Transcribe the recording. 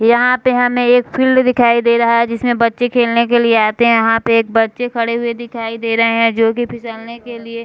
यहाँ पे हमें एक फील्ड दिखाई दे रहा है जिसमें बच्चे खेलने के लिए आते हैं यहाँ पे एक बच्चे खड़े हुए दिखाई दे रहे हैंजो की फिसलने के लिए --